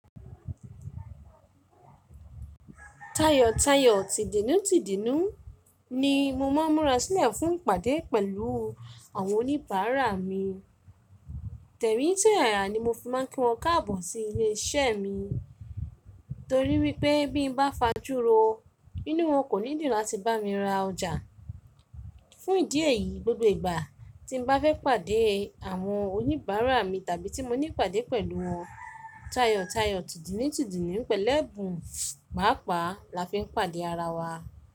Tayọ̀tayọ̀, tìdínútìdínú ni mo máa ń múra sílẹ̀ fún ìpàdé pẹ̀lú àwọn oníbàárà mi. Tẹ̀mí tó yàyà ni mo fi máa ń kí wọ́n káàbọ̀ sí ilé iṣẹ́ mi torí wípé bí mo bá fajúro, nínú wọn kò ní dìrọ̀ láti bá mi ra ọjà. Fún ìdí èyí, gbogbo ìgbà tí mo bá fẹ́ pàdé àwọn oníbàárà mi tàbí tí mo ní ìpàdé pẹ̀lú wọn, tayọ̀tayọ̀, tìdínútìdínú pẹ̀lú ẹ̀bùn mápa la fi ń pàdé ara wa.